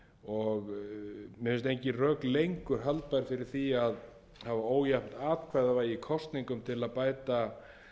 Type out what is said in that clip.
rök lengur halda fyrir því að ójafnt atkvæðavægi í kosningum til að bæta